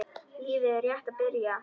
Lífið er rétt að byrja.